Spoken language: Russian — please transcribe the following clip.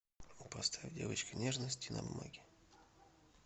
поставь девочка нежности на бумаге